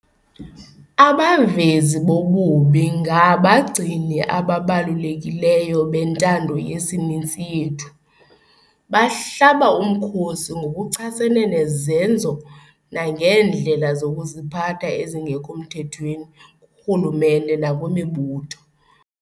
Abavezi bobubi ngabagcini ababalulekileyo bentando yesininzi yethu. Bahlaba umkhosi ngokuchasene nezenzo nangeendlela zokuziphatha ezingekho mthethweni kurhulumente nakwimibutho.